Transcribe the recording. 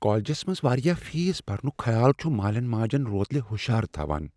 کالجس منز واریاہ فیس برنک خیال چھ مالین ماجن روتلہ ہشارٕ تھوان۔